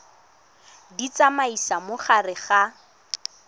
di tsamaisa mo gare ga